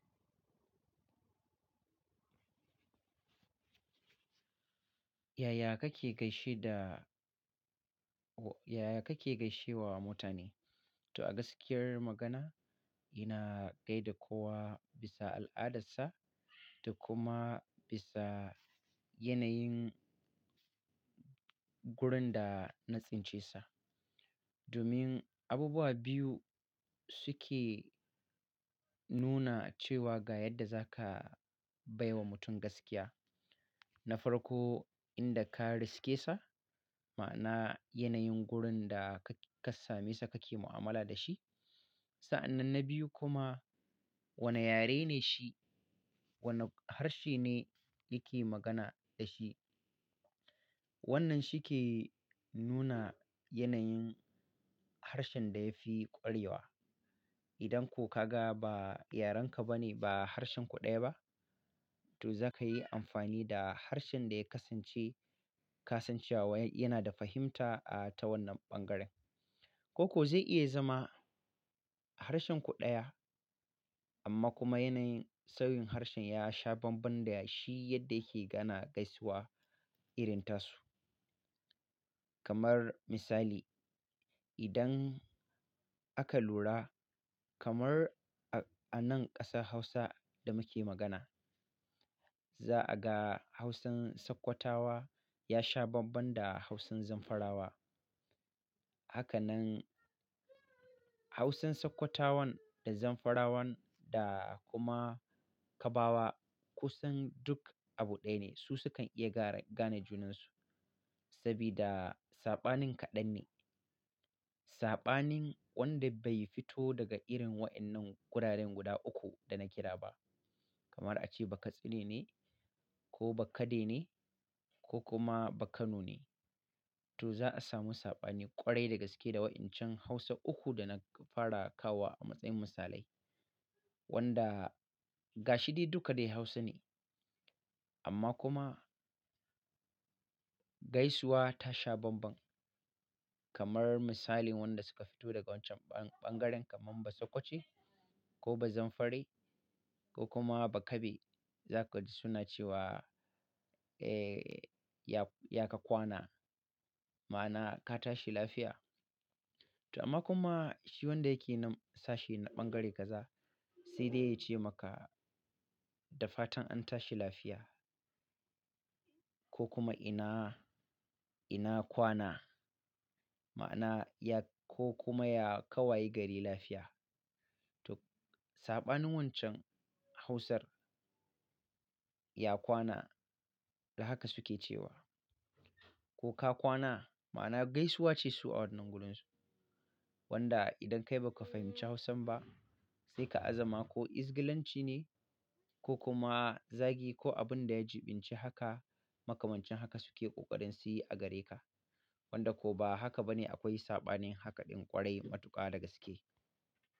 Yaya kake gaishe da-- yaya kake gaishe wa mutane? To a gaskiyar magana, ina gaida kowa bisa al'adarsa da kuma bisa yanayin gurin da na tsince sa. Domin abubuwa biyu suke nuna cewa ga yadda za ka bai wa mutum gaskiya na farko, inda ka riske sa, ma'ana yanayin gurin da ka, ka same sa kake mu'amala da shi. Sa'annan na biyu kuma wane yare ne shi, wane harshe ne yake magana da shi. Wannan shi ke nuna yanayin harshen da ya fi ƙwarewa. Idan ko ka ga ba yarenka ba ne ba harshen ku ɗaya ba, to za ka yi amfani da harshen da ya kasance kasancewa yana da fahimta, ah, ta wannan ɓangaren. Ko ko zai iya zama harshen ku ɗaya amma kuma yanayin sawin harshen ya sha banban da shi yadda yake gana gaisuwa irin tasu. Kamar misali, idan aka lura kamar a, a nan ƙasar Hausa da muke magana, za a ga Hausan Sokotawa ya sha banban da Hausan Zamfarawa. Hakanan Hausan Sokotawan da Zamfarawan da kuma Kabawa kusan duk abu ɗaya ne. Su su kan iya gara, gane junansu sabida saɓanin kaɗan ne. Sabanin wanda bai fito daga irin wainnan gurare guda uku dana kira ba kamar a ce Bakatsine ne ko Bakade ne ko kuma Bakano ne. To za a samu saɓani ƙwarai da gaske da wa'incan Hausa uku da na fara kawowa a matsayin misalai. Wanda gashi dai duka dai Hausa ne amma kuma gaisuwa ta sha banban. Kamar misalin wanda suka fito daga wancan ɓan-ɓangaren kamar basokoce ko bazamfare ko kuma bakabe, za ka ji suna cewa, ya, ya ka kwana, ma'ana ka tashi lafiya. To amma kuma shi wanda yake nan sashi na ɓangare kaza sai dai ya ce maka da fatan an tashi lafiya ko kuma ina, ina kwana, ma'ana ya ko kuma ya ka waye gari lafiya. To saɓanin wancan Hausar ya kwana da haka suke cewa ko ka kwana, ma'ana gaisuwa ce su a wannan gurunsu. Wanda idan kai ba ka fahimci Hausan ba, sai ka a za ma ko Izgalanci ne ko kuma zagi ko abin da ya jiɓinci haka makamancin haka suke ƙoƙarin su yi a gare ka. Wanda ko ba haka ba ne akwai saɓanin haka ɗin ƙwarai matuƙa da gaske.